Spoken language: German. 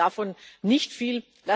Ich halte davon nicht viel.